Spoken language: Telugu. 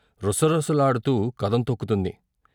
రుసరుసలాడుతూ కదం తొక్కుతుంది.